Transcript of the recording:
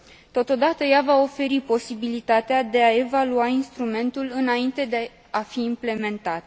Totodată, ea va oferi posibilitatea de a evalua instrumentul, înainte de a fi implementat.